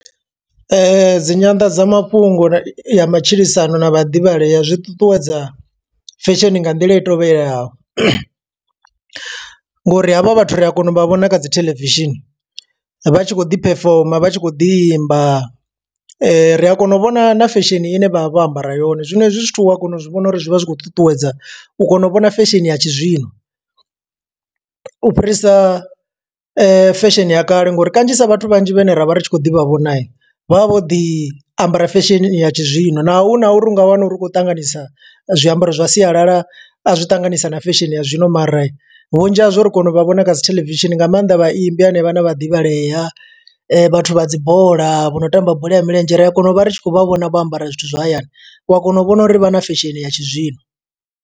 Dzi nyanḓadzamafhungo ya matshilisano na vhaḓivhalea zwi ṱuṱuwedza fashion nga nḓila i tovhelelaho. Ngo uri havha vhathu ri a kona u vha vhona kha dzi theḽevishini, vha tshi kho ḓi perform, vha tshi kho ḓi imba. Ri a kona u vhona na fesheni ine vha vha vho ambara yone, zwino hezwi zwithu u a kona u zwi vhona uri zwi vha zwi khou ṱuṱuwedza. U kona u vhona fesheni ya tshi zwino, u fhirisa fesheni ya kale. Nga uri kanzhisa vhathu vhanzhi vhane ra vha ri tshi khou ḓi vha vhona, vha vha vho ḓi ambara fesheni ya tshi zwino. Naho hu na uri u nga wana uri u khou ṱanganisa zwiambaro zwa sialala, a zwi ṱanganisa na fesheni ya zwino. Mara vhunzhi hazwo ri kona u vha vhona kha dzi theḽevishini, nga maanḓa vha imbi henevha, na vhaḓivhalea vhathu vha dzibola, vho no tamba bola ya milenzhe. Ri a kona u vha ri tshi khou vha vhona vho ambara zwithu zwa hayani. U a kona u vhona uri vha na fesheni ya tshi zwino.